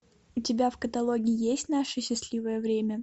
у тебя в каталоге есть наше счастливое время